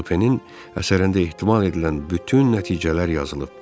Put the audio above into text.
Supenin əsərində ehtimal edilən bütün nəticələr yazılıb.